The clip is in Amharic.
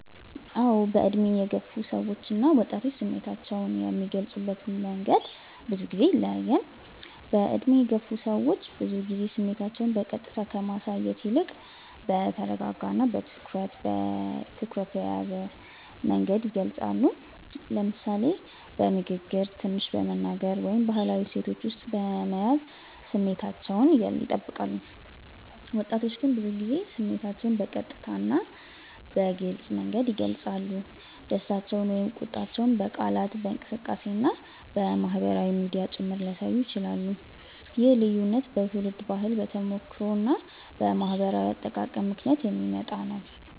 አዎ፣ በዕድሜ የገፉ ሰዎች እና ወጣቶች ስሜታቸውን የሚገልጹበት መንገድ ብዙ ጊዜ ይለያያል። በዕድሜ የገፉ ሰዎች ብዙ ጊዜ ስሜታቸውን በቀጥታ ከማሳየት ይልቅ በተረጋጋ እና በትኩረት የተያዘ መንገድ ይገልጻሉ፤ ለምሳሌ በንግግር ትንሽ በመናገር ወይም በባህላዊ እሴቶች ውስጥ በመያዝ ስሜታቸውን ይጠብቃሉ። ወጣቶች ግን ብዙ ጊዜ ስሜታቸውን በቀጥታ እና በግልጽ መንገድ ይገልጻሉ፤ ደስታቸውን ወይም ቁጣቸውን በቃላት፣ በእንቅስቃሴ እና በማህበራዊ ሚዲያ ጭምር ሊያሳዩ ይችላሉ። ይህ ልዩነት በትውልድ ባህል፣ በተሞክሮ እና በማህበራዊ አጠቃቀም ምክንያት የሚመጣ ነው።